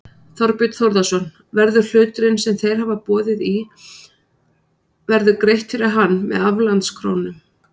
Þorbjörn Þórðarson: Verður hluturinn sem þeir hafa boðið í verður greitt fyrir hann með aflandskrónum?